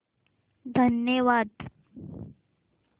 धन्यवाद